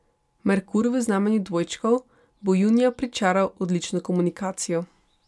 Merkur v znamenju dvojčkov bo junija pričaral odlično komunikacijo.